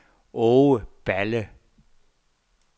Aage Balle